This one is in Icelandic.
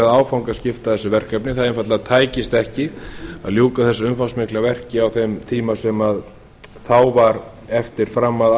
áfangaskipta þessu verkefni það einfaldlega tækist ekki að ljúka þessu umfangsmikla verki á þeim tíma sem þá var eftir fram að